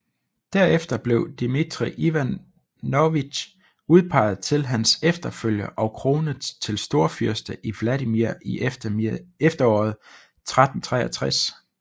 Derefter blev Dmitrij Ivanovitj udpeget til hans efterfølger og kronet til storfyrste i Vladimir i efteråret 1363